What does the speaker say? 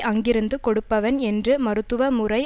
அங்கிருந்து கொடுப்பவன் என்று மருத்துவ முறை